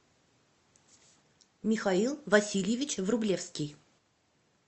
михаил васильевич врублевский